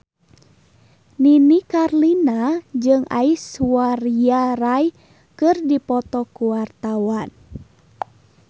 Nini Carlina jeung Aishwarya Rai keur dipoto ku wartawan